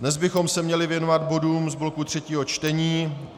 Dnes bychom se měli věnovat bodům z bloku třetího čtení.